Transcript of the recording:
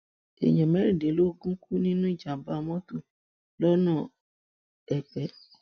èèyàn mẹrìndínlógún kú nínú ìjàmbá mọtò lọnà èpè